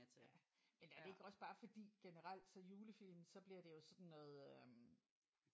Ja men er det ikke også bare fordi generelt så julefilm så bliver det jo sådan noget øh